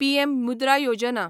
PM Mudra Yojana